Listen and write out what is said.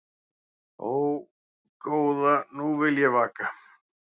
Ó, góða nú vil ég vaka